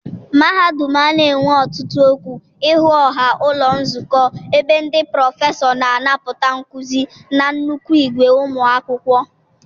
mahadum a na-enwe otutu okwu ihu ọha Ụlọ Nzukọ ebe ndị prọfesọ na-anapụta nkuzi na nnukwu ìgwè ụmụ akwụkwọ.